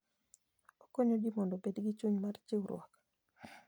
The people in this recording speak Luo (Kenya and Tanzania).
Okonyo ji mondo obed gi chuny mar chiwruok.